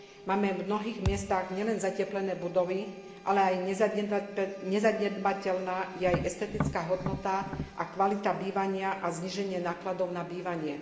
Máme v mnohých miestach nielen zateplené budovy, ale nezanedbateľná je aj estetická hodnota a kvalita bývania a zníženie nákladov na bývanie.